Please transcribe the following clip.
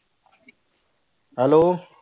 hello